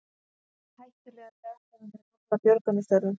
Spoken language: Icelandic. Hættulegar gastegundir hamla björgunarstörfum